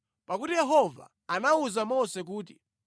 Pakuti Yehova anawuza Mose kuti,